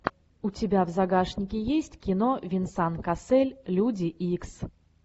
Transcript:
у тебя в загашнике есть кино венсан кассель люди икс